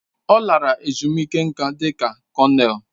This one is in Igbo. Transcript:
Ọ lara ezumike nká dị ka kọnel.